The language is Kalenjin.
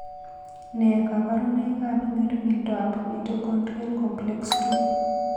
Nee kabarunoikab ng'ering'indoab Mitochondrial Complex II?